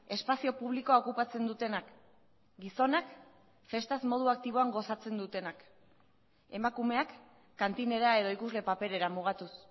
espazio publikoa okupatzen dutenak gizonak festaz modu aktiboan gozatzen dutenak emakumeak kantinera edo ikusle paperera mugatuz